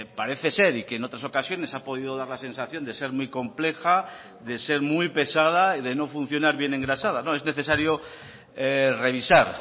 parece ser y que en otras ocasiones ha podido dar la sensación de ser muy compleja de ser muy pesada y de no funcionar bien engrasada no es necesario revisar